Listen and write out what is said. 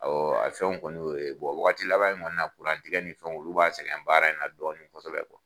Awɔ a fɛn kɔni y'o ye wagati laban in kɔni na tigɛ nin fɛn olu b'an sɛgɛn baara in na dɔɔnin kɔsɔbɛ